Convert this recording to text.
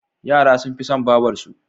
Yara sun fi son babarsu.